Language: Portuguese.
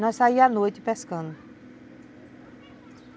Nós saía à noite pescando.